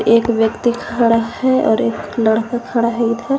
एक व्यक्ति खड़ा है और एक लड़का खड़ा है उधर--